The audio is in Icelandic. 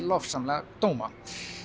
lofsamlega dóma